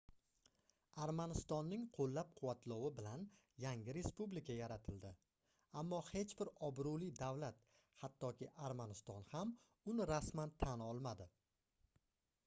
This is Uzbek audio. armanistonning qoʻllab-quvvatlovi bilan yangi respublika yaratildi ammo hech bir obroʻli davlat hattoki armaniston ham uni rasman tan olmadi